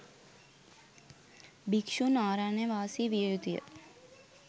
භික්‍ෂූන් අරණ්‍යවාසී විය යුතු ය.